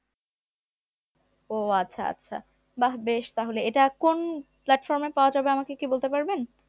ও আচ্ছা আচ্ছা বাহ বেশ তাহলে এটা কোন platform এ পাওয়া যাবে আমাকে কি বলতে পারবেন?